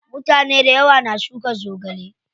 Mutane dayawa na shuka zogale.